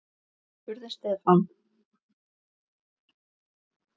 spurði Stefán.